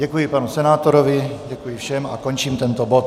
Děkuji panu senátorovi, děkuji všem a končím tento bod.